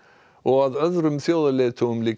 þjóðarleiðtogum líkaði vel við hann